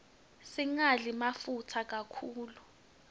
singadli mafutsa kakhulu